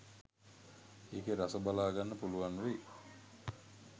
ඒකෙ රස බලාගන්න පුළුවන් වෙයි.